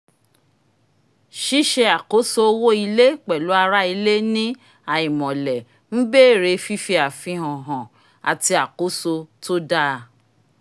ṣíṣe àkóso owó ilé pẹ̀lú àwọn ará ilé ní àìmọ̀lẹ̀ ń béèrè fífi àfihàn han àti àkóso tó dáa